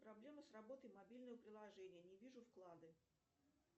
проблема с работой мобильного приложения не вижу вклады